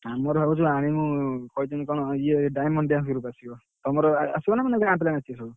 ଆମର ଭାବୁଛୁ ଆଣିବୁ କହିଛନ୍ତି କଣ ଇଏ diamond dance group ଆସିବ, ତମର ଆସିବ ନା ପୁଣି ଗାଁ ପିଲା ନାଚିବେ ସବୁ।